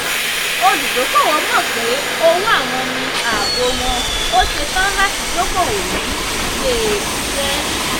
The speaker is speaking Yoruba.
olùdókoòwò mọ̀ pé òwò àwọn ní ààbò wọ̀n ó ṣetán láti dókoòwò ní ilé-iṣẹ́.